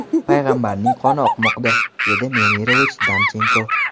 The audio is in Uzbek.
payg‘ambarning qoni oqmoqda”, dedi Nemirovich-Danchenko.